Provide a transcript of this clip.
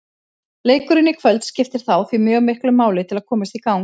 Leikurinn í kvöld skiptir þá því mjög miklu máli til að komast í gang.